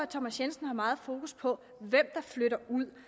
thomas jensen har meget fokus på hvem der flytter ud